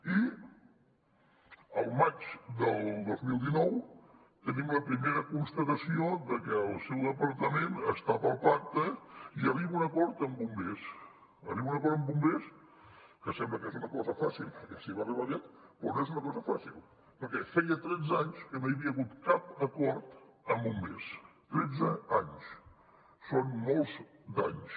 i al maig del dos mil dinou tenim la primera constatació de que el seu departament està pel pacte i arriba a un acord amb bombers que sembla que és una cosa fàcil perquè s’hi va arribar aviat però no és una cosa fàcil perquè feia tretze anys que no hi havia hagut cap acord amb bombers tretze anys són molts d’anys